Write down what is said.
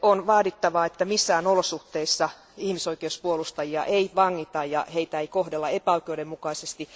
vaadittava, että missään olosuhteissa ihmisoikeuspuolustajia ei vangita ja heitä ei kohdella epäoikeudenmukaisesti.